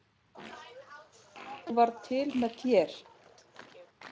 Ég varð til með þér.